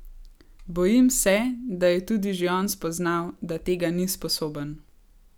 Bojim se, da je tudi že on spoznal, da tega ni sposoben.